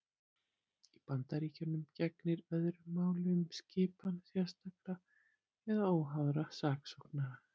Í Bandaríkjunum gegnir öðru máli um skipan sérstakra eða óháðra saksóknara.